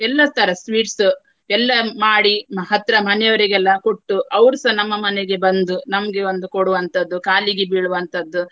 ಎಲ್ಲಾ ತರ sweets ಎಲ್ಲಾ ಮಾಡಿ ಹತ್ರ ಮನೆಯವರಿಗೆಲ್ಲ ಕೊಟ್ಟು ಅವರುಸ ನಮ್ಮ ಮನೆಗೆ ಬಂದು ನಮ್ಗೆ ಒಂದು ಕೊಡುವಂತದ್ದು ಕಾಲಿಗೆ ಬೀಳುವಂತದ್ದು.